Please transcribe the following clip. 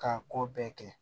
K'a ko bɛɛ kɛ